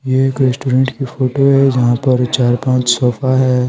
ये एक रेस्टोरेंट की फोटो है जहां पर चार पांच सोफा है।